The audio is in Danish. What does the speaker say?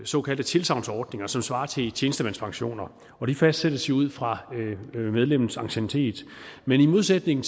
såkaldte tilsagnsordninger som svarer til tjenestemandspensioner og de fastsættes jo ud fra medlemmets anciennitet men i modsætning